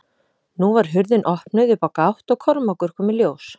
Nú var hurðin opnuð upp á gátt og Kormákur kom í ljós.